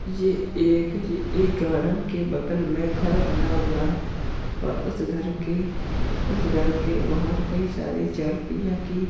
ये एक ये एक गार्डन के बगल में घर बना हुआ है और उस घर के उस घर के बाहर कई सारी चार पहिया की --